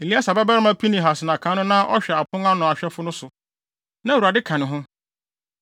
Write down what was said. Eleasar babarima Pinehas na kan no na ɔhwɛ apon ano ahwɛfo no so, na Awurade ka ne ho.